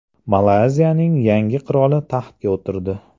Malayziyaning yangi qiroli taxtga o‘tirdi.